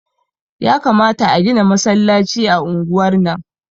Yakamata a gina masallaci a unguwar nan